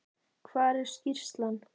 Hvar er skýrslan?